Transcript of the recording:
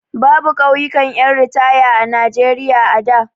Babu ƙauyukan ƴan ritaya a Najeriya da.